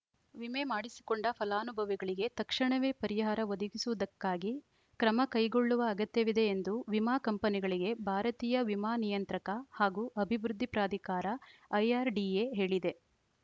ವಿಮೆ ಮಾಡಿಸಿಕೊಂಡ ಫಲಾನುಭವಿಗಳಿಗೆ ತಕ್ಷಣವೇ ಪರಿಹಾರ ಒದಗಿಸುವುದಕ್ಕಾಗಿ ಕ್ರಮ ಕೈಗೊಳ್ಳುವ ಅಗತ್ಯವಿದೆ ಎಂದು ವಿಮಾ ಕಂಪನಿಗಳಿಗೆ ಭಾರತೀಯ ವಿಮಾ ನಿಯಂತ್ರಕ ಹಾಗೂ ಅಭಿವೃದ್ಧಿ ಪ್ರಾಧಿಕಾರಐಆರ್‌ಡಿಎ ಹೇಳಿದೆ